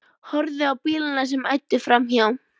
Horfði á bílana sem æddu framhjá.